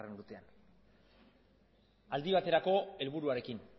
urtean aldi baterako helburuarekin